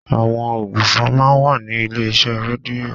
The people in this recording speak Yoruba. Àwọn ògbufọ̀ máa ń wà ní ilé iṣẹ́ rédíò.